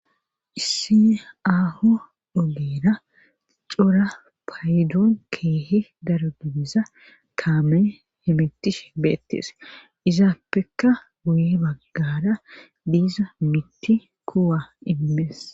issi aho dobeera cora paydoon keehi daro dibiza kaamee he mittish beettees izaappeka guye baggara diiza mitti kuwa immees